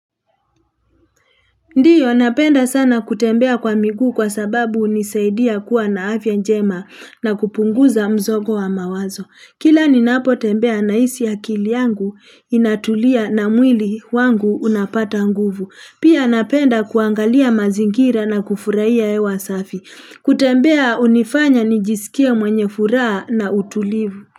Ndiyo napenda sana kutembea kwa miguu kwa sababu hunisaidia kuwa na afya njema na kupunguza mzogo wa mawazo. Kila ninapo tembea na hisi akili yangu inatulia na mwili wangu unapata nguvu. Pia napenda kuangalia mazingira na kufurahia hewa safi. Kutembea hunifanya nijisikie mwenye furaha na utulivu.